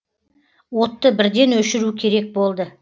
отты бірден өшіру керек болды